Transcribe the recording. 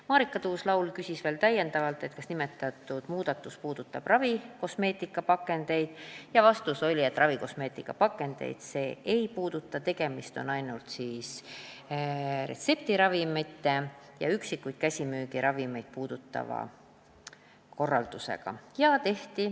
Marika Tuus-Laul küsis täiendavalt, kas nimetatud muudatus puudutab ravikosmeetikapakendeid, ja vastus oli, et ravikosmeetikapakendeid see ei puuduta, tegemist on ainult retseptiravimite ja üksikuid käsimüügiravimeid puudutava korraldusega.